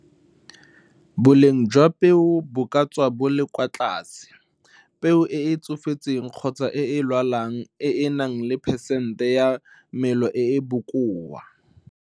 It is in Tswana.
Boleng jwa peo bo ka tswa bo le kwa tlase peo e e tsofetseng kgotsa e e lwalang e e nang le phesente ya melo e e bokoa.